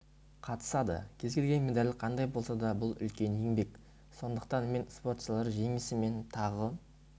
қатысады кез келген медаль қандай болса да бұл үлкен еңбек сондықтан мен спортшыларды жеңісімен тағы